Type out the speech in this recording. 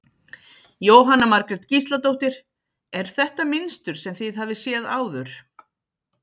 Jóhanna Margrét Gísladóttir: Er þetta mynstur sem þið hafið séð áður?